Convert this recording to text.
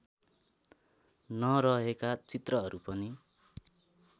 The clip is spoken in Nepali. नरहेका चित्रहरू पनि